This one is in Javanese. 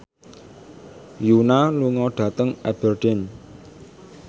Yoona lunga dhateng Aberdeen